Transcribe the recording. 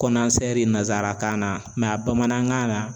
nanzarakan na a bamanankan na